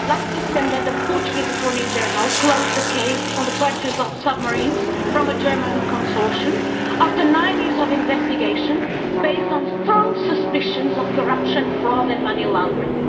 Madam President, last December the Portuguese Attorney General closed the case on the purchase of submarines from a German consortium, after nine years of investigation based on strong suspicions of corruption, fraud and money laundering.